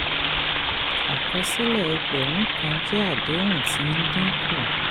àkọsílẹ̀ ẹgbẹ̀rún kan jẹ́ àdéhùn tí ń dín kù.